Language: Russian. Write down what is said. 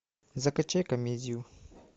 закачай комедию